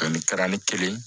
Ani garan ni kelen